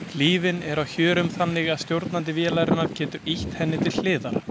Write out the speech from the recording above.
Hlífin er á hjörum þannig að stjórnandi vélarinnar getur ýtt henni til hliðar.